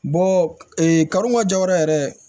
Bɔ karonma jayɔrɔ yɛrɛ